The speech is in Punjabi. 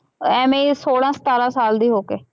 ਐਵੇਂ ਸੋਲਾਂ ਸਤਾਰਾਂ ਸਾਲ ਦੀ ਹੋ ਕੇ